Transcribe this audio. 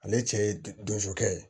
Ale cɛ ye donso kɛ ye